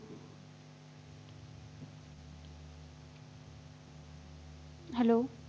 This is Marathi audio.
Hello